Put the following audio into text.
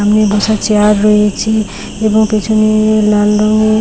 এমনি বসার চেয়ার রয়েছে এবং পেছনে লাল রঙের --